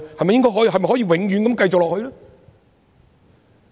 是否可以永遠如此下去？